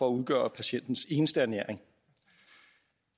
at udgøre patientens eneste ernæring